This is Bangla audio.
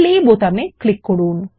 প্লে বোতাম ক্লিক করুন